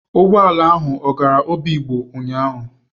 Ụgbọ ala ahụ ọ gara Obigbo ụnyahụ?